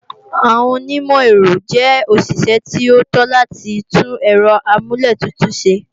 Àwọn onímọ̀-èrọ jẹ́ òṣìṣẹ́ tí ó tó láti tún Ẹ̀rọ amúlẹ̀tutù ṣe